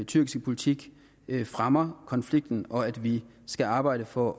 tyrkiske politik fremmer konflikten og at vi skal arbejde for